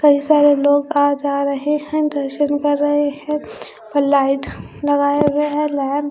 कई सारे लोग आ जा रहे हैं दर्शन कर रहे हैं और लाइट लगाए हुए हैं लैम--